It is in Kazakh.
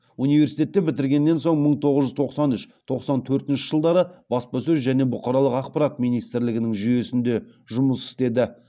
университетті бітіргеннен соң мың тоғыз жүз тоқсан үш тоқсан төртінші жылдары баспасөз және бұқаралық ақпарат министрлігінің жүйесінде жұмыс істеді